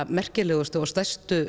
merkilegustu og stærstu